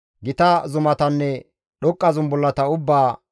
Gita zumatanne dhoqqa zumbullata ubbaa,